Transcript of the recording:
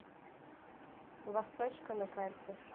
восточка на карте